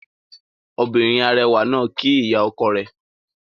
Obìnrin arẹwà náà kíí ìyá ọkọ rẹ̀